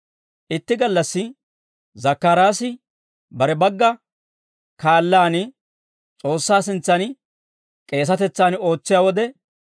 Itti gallassi Zakkaraasi bare bagga kaallaan S'oossaa sintsan K'eesatetsan ootsiyaa wode,